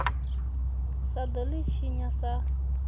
sa ḓo ḽi tshinya sa